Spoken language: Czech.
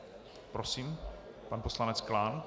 Prosím, pan poslanec Klán.